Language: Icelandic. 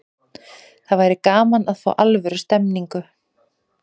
Það væri gaman að fá alvöru stemningu.